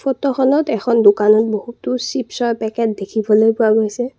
ফটোখনত এখন দোকানত বহুতো চিপৰ পেকেট দেখিবলৈ পোৱা গৈছে।